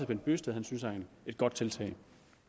bent bøgsted synes er et godt tiltag